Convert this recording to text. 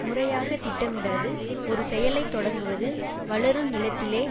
முறையாக திட்டமிடாது ஒரு செயலை தொடங்குவது வளரும் நிலத்திலே